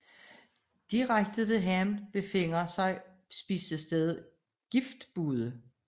Direkte ved havnen befinder sig spisestedet Giftbude